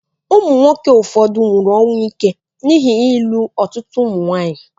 Ụmụ nwoke ụfọdụ nwụrụ ọnwụ ike n'ihi ịlụ ọtụtụ ụmụ nwaanyị